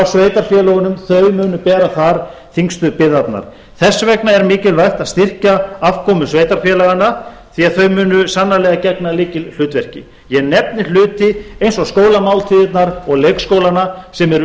sveitarfélögunum þau munu bera þar þyngstu byrðarnar þess vegna er mikilvægt að styrkja afkomu sveitarfélaganna því þau munu sannarlega gegna lykilhlutverki ég nefni hluti eins og skólamáltíðirnar og leikskólana sem eru